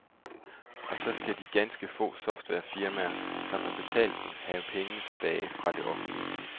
Og så skal de ganske få softwarefirmaer, som har betalt den, have penge tilbage fra det offentlige.